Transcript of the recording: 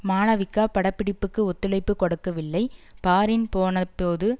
மாளவிகா பட பிடிப்புக்கு ஒத்துழைப்பு கொடுக்கவில்லை பாரின் போனபோது